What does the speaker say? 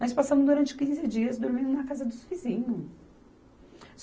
Nós passamos durante quinze dias dormindo na casa dos vizinhos.